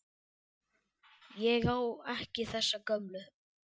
Ég á ekki þessa gömlu.